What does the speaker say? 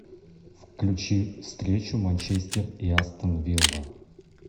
включи встречу манчестер и астон вилла